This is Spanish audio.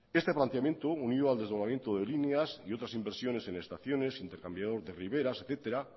este planteamiento unió al desdoblamiento de líneas y otras inversiones en estaciones intercambiador de riberas etcétera